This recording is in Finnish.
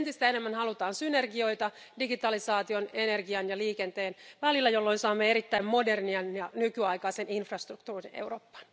osalta. Eli entistä enemmän halutaan synergioita digitalisaation, energian ja liikenteen välillä, jolloin saamme erittäin modernin ja nykyaikaisen infrastruktuurin Eurooppaan.